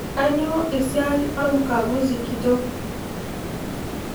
Kanyio esiai ormkaguzi kitok?